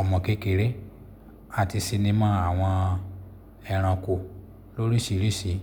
ọmọ kékeré àti sinimá àwọn ẹranko lóríṣìíríṣìí.